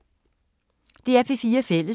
DR P4 Fælles